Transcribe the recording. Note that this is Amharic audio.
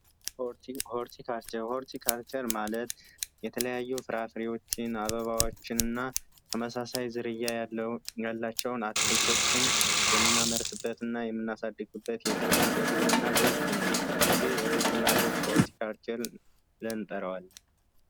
ኦርቲ ካልቸር ማለት የተለያዩ ፍራፍሬዎችን አበባዎችንና ተመሳሳይ ዝርያ ያላቸው አትክልቶችን የምናመርትበት እና የምናሳድግበት የግብርና ዘርፍ ነው ይህ ግብና ዘርፍ ኦርቲ ካልቸር ብለን እንጠራዋለን።